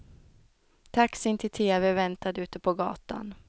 Taxin till tv väntade ute på gatan.